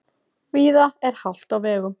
Víða er hált á vegum